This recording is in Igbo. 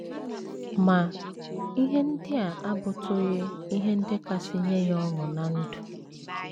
Ma, ihe ndị a abụtụghị ihe ndị kasị nye ya ọṅụ ná ndụ.